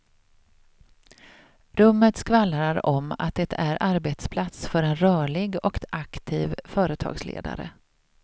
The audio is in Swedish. Rummet skvallrar om att det är arbetsplats för en rörlig och aktiv företagsledare.